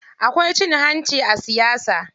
Akwai cin hanci a siyasa.